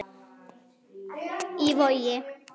Í Vogi.